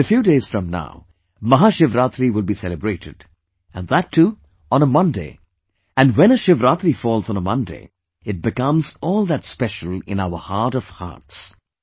In a few days from now, Mahashivrartri will be celebrated, and that too on a Monday, and when a Shivratri falls on a Monday, it becomes all that special in our heart of our hearts